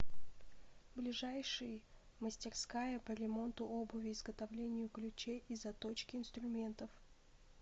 ближайший мастерская по ремонту обуви изготовлению ключей и заточке инструментов